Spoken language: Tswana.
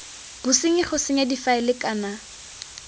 bosenyi go senya difaele kana